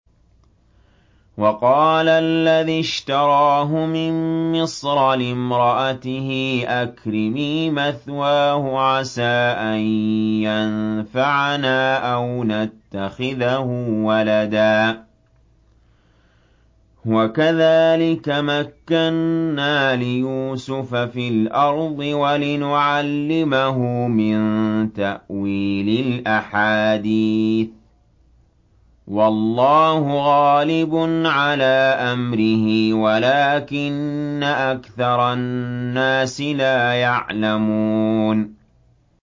وَقَالَ الَّذِي اشْتَرَاهُ مِن مِّصْرَ لِامْرَأَتِهِ أَكْرِمِي مَثْوَاهُ عَسَىٰ أَن يَنفَعَنَا أَوْ نَتَّخِذَهُ وَلَدًا ۚ وَكَذَٰلِكَ مَكَّنَّا لِيُوسُفَ فِي الْأَرْضِ وَلِنُعَلِّمَهُ مِن تَأْوِيلِ الْأَحَادِيثِ ۚ وَاللَّهُ غَالِبٌ عَلَىٰ أَمْرِهِ وَلَٰكِنَّ أَكْثَرَ النَّاسِ لَا يَعْلَمُونَ